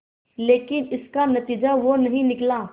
लेकिन इसका नतीजा वो नहीं निकला